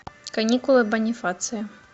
каникулы бонифация